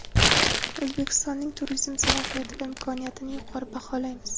O‘zbekistonning turizm salohiyati va imkoniyatini yuqori baholaymiz.